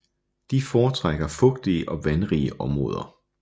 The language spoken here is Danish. De foretrækker fugtige og vandrige områder